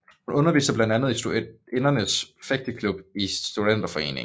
Hun underviste blandt andet i Studinernes Fægteklub i Studenterforeningen